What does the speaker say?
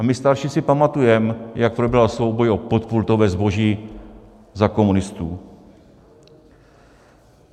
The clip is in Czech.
A my starší si pamatujeme, jak probíhal souboj o podpultové zboží za komunistů.